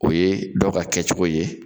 O ye dɔw ka kɛ cogo ye.